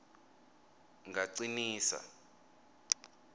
ngacinisa